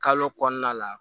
Kalo kɔnɔna la